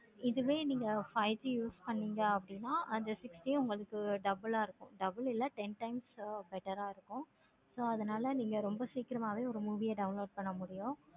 இதுவே நீங்க five G use பன்னிங்கன்னா அந்த six உங்களுக்கு double ஆஹ் இருக்கும். double இல்லை ten times better ஆஹ் இருக்கும். so ரொம்ப சீக்கிரமாவே movie யா download பண்ண முடியும்.